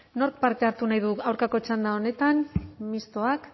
nork parte hartu nahi du aurkako txanda honetan mistoak